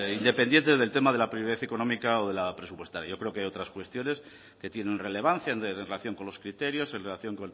independientes del tema de la económica o de la presupuestaria yo creo que hay otras cuestiones que tienen relevancia en relación con los criterios en relación